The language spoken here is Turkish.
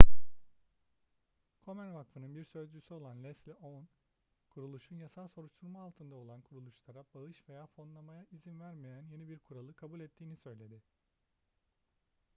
komen vakfının bir sözcüsü olan leslie aun kuruluşun yasal soruşturma altında olan kuruluşlara bağış veya fonlamaya izin vermeyen yeni bir kuralı kabul ettiğini söyledi